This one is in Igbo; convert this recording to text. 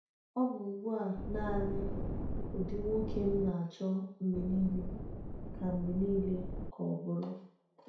Ọ bụ ugbu a naanị ụdị nwoke m na-achọ mgbe niile ka mgbe niile ka ọ bụrụ.